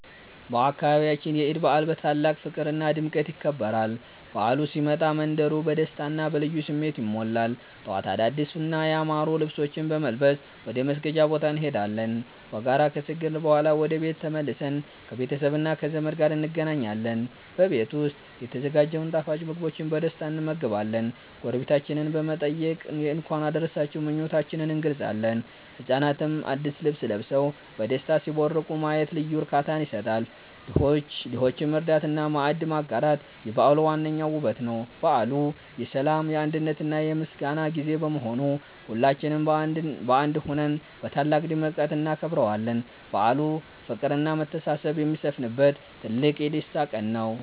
በአካባቢያችን የዒድ በዓል በታላቅ ፍቅርና ድምቀት ይከበራል። በዓሉ ሲመጣ መንደሩ በደስታና በልዩ ስሜት ይሞላል። ጠዋት አዳዲስና ያማሩ ልብሶችን በመልበስ ወደ መስገጃ ቦታ እንሄዳለን። በጋራ ከሰገድን በኋላ ወደ ቤት ተመልሰን ከቤተሰብና ከዘመድ ጋር እንገናኛለን። በቤት ዉስጥ የተዘጋጀውን ጣፋጭ ምግቦችን በደስታ እንመገባለን። ጎረቤቶቻችንን በመጠየቅ የእንኳን አደረሳችሁ ምኞታችንን እንገልጻለን። ህጻናትም አዲስ ልብስ ለብሰው በደስታ ሲቦርቁ ማየት ልዩ እርካታ ይሰጣል። ድሆችን መርዳትና ማዕድ ማጋራት የበዓሉ ዋነኛው ውበት ነው። በዓሉ የሰላም፣ የአንድነትና የምስጋና ጊዜ በመሆኑ ሁላችንም በአንድ ሆነን በታላቅ ድምቀት እናከብረዋለን። በዓሉ ፍቅርና መተሳሰብ የሚሰፍንበት ትልቅ የደስታ ቀን ነው።